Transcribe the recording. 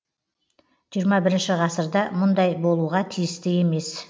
жиырма бірінші ғасырда мұндай болуға тиісті емес